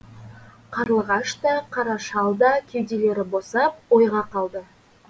қарлығаш та қара шал да кеуделері босап ойға қалды